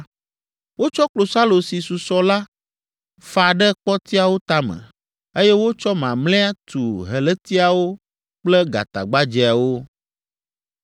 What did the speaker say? Wotsɔ klosalo si susɔ la fa ɖe kpɔtiawo tame, eye wotsɔ mamlɛa tu helétiawo kple gatagbadzɛawo.